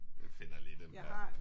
Jeg finder lige den der